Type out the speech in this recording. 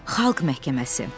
Xalq məhkəməsi.